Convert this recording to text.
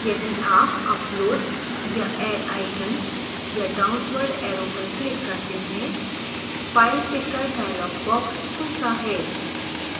यदि आप upload या add icon या downward arrow पर click करते हैं file picker dialog box खुलता है